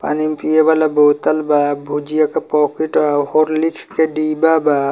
पानी पिए वाला बोतल बा भुजिया के पोकिट बा हॉर्लिक्स के डिब्बा बा।